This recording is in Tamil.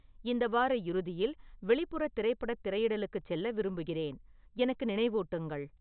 இந்த வார இறுதியில் வெளிப்புற திரைப்படத் திரையிடலுக்குச் செல்ல விரும்புகிறேன் எனக்கு நினைவூட்டுங்கள்